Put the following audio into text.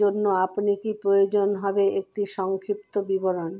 জন্য আপনি কি প্রয়োজন হবে একটি সংক্ষিপ্ত বিবরণ